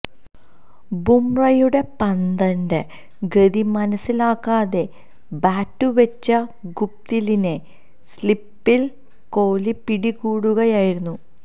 ബുംറയുടെ പന്തിന്റെ ഗതി മനസിലാക്കാതെ ബാറ്റുവച്ച ഗുപ്ടിലിനെ സ്ലിപ്പില് കോഹ്ലി പിടികൂടുകയായിരുന്നു